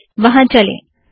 चलिए वहाँ चलें